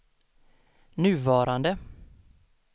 nuvarande